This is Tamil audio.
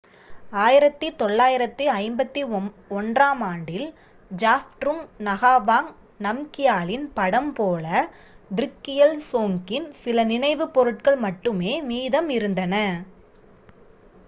1951-ஆம் ஆண்டில் ஜாப்ட்ருங் நகாவாங் நம்கியாலின் படம் போல த்ருக்கியல் சோங்கின் சில நினைவுப் பொருட்கள் மட்டுமே மீதம் இருந்தன